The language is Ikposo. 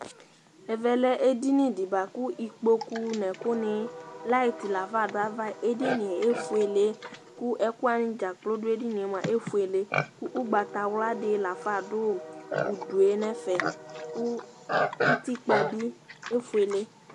Ɛvɛ lɛ edini di bua kʋ ikpokʋ n'ɛkʋni, light lafa dʋ ava, edini yɛ efuele kʋ ɛkʋ wani dzaa kplo dʋ edini yɛ mua efuele kʋ ʋgbatawla di lafa dʋ udu yɛ n'ɛfɛ, kʋ utikpa bi efuele